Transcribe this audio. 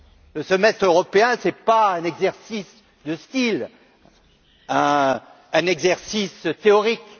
Le Semestre européen n'est pas un exercice de style, un exercice théorique.